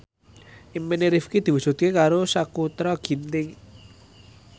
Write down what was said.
impine Rifqi diwujudke karo Sakutra Ginting